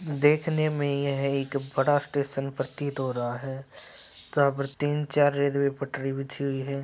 देखने में यह एक बड़ा स्टेशन प्रतीत हो रहा है यहाँ पर तीन चार रेलवे पटरी बिछी हुई है।